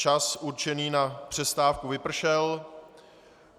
Čas určený na přestávku vypršel.